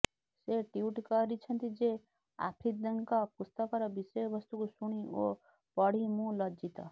ସେ ଟ୍ବିଟ୍ କରିଛନ୍ତି ଯେ ଆଫ୍ରିଦିଙ୍କ ପୁସ୍ତକର ବିଷୟ ବସ୍ତୁକୁ ଶୁଣି ଓ ପଢ଼ି ମୁଁ ଲଜ୍ଜିତ